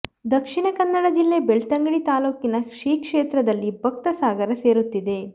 ದಕ್ಷಿಣ ಕನ್ನಡ ಜಿಲ್ಲೆ ಬೆಳ್ತಂಗಡಿ ತಾಲೂಕಿನ ಶ್ರೀಕ್ಷೇತ್ರದಲ್ಲಿ ಭಕ್ತ ಸಾಗರ ಸೇರುತ್ತಿದೆ